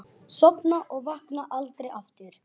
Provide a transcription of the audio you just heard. Sofna og vakna aldrei aftur.